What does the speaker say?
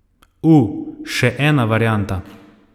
U, še ena varianta.